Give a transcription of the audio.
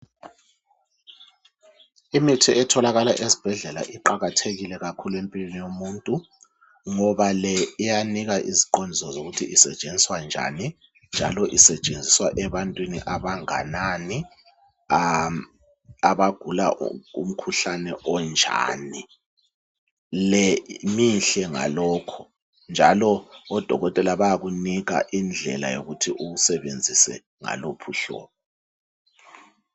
Imithi etholakala ezibhedlela iqakathekile kakhulu empilweni yomuntu, ngoba le, iyanika iziqondiso, zokuthi isetshenziswa njani, njalo isetshenziswa ebantwini abanganani, abagula umkhuhlane onjani. Le mihle ngakhonokho, njalo odokotela bayakupha iziqondiso zokuthi, uyisebenzise ngaluphi uhlobo.